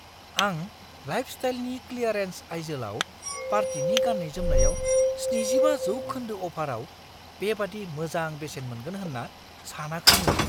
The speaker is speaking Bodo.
आं लाइफस्टाइलनि क्लियारेन्स आइजोलाव पार्टिनि गाननाय-जोमनायाव 75 जौखोन्दो अफाराव बेबादि मोजां बेसेन मोनगोन होन्ना सानाखैमोन!